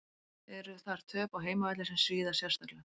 Eru þar töp á heimavelli sem svíða sérstaklega.